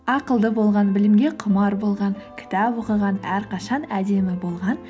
ақылды болған білімге құмар болған кітап оқыған әрқашан әдемі болған